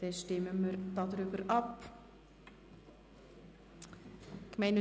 Dann stimmen wir über die Motion «